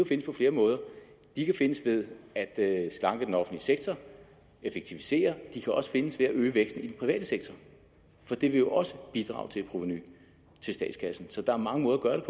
findes på flere måder de kan findes ved at slanke den offentlige sektor effektivisere de kan også findes ved at øge væksten i den private sektor for det vil jo også bidrage til et provenu til statskassen så der er mange måder at